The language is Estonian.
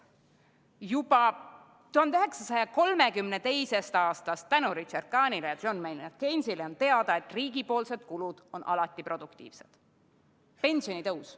Juba 1932. aastast on tänu Richard Kahnile ja John Maynard Keynesile teada, et riigi kulud on alati produktiivsed.